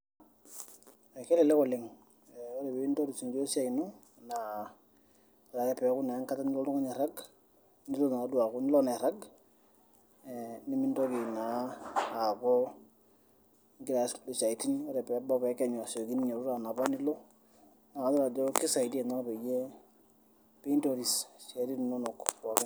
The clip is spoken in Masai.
Ekelelek oleng ore piintoris injio we siai ino naa yiolo ake peeku enkata nilo oltung'ani airrag naa nilo naduo aaku nilo naa airrag nemintoki naa aaku ingira aas kulie siaitin ore peebau peekenyu asioki ninyiototo anapa nilo naa kayiolo ajo kisaidaia ina peyie piintoris isiaitin inonok pookin.